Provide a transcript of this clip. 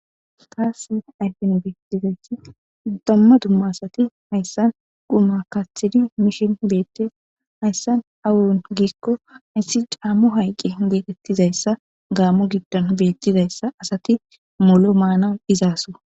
Taasi ayfen beettizayssi damma dumma asati hayssan guma kaaththidi mishin beettes hayssan awon giikko hayssi caammo hayqqe geetettizayssa gaammo giddon beettizayssa asati molo maanan izaaso.